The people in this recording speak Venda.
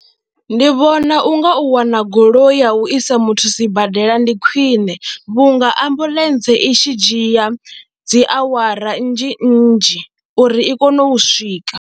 Ndi vhona u nga u wana goloi ya u isa muthu sibadela ndi khwine vhunga ambuḽentse i tshi dzhia dzi awara nnzhi nnzhi uri i kone u swika.